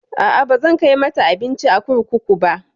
A'a, bazan kai mata abinci a kurkuku ba.